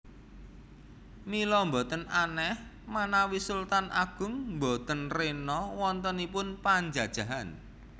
Mila boten aneh manawi Sultan Agung boten rena wontenipun panjajahan